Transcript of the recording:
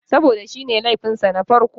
Saboda shi ne laifin sa na farko.